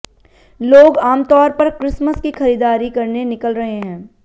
लोग आमतौर पर क्रिसमस की खरीदारी करने निकल रहे हैं